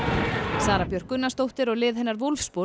Sara Björk Gunnarsdóttir og lið hennar